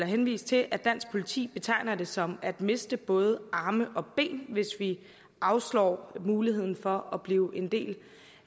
henvise til at dansk politi betegner det som at miste både arme og ben hvis vi afslår muligheden for at blive en del